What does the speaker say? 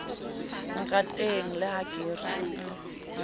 rateng le ha ke re